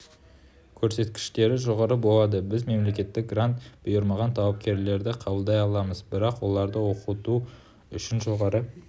көрсеткіштері жоғары болады біз мемлекеттік грант бұйырмаған талапкерлерді қабылдай аламыз бірақ оларды оқыту үшін жоғары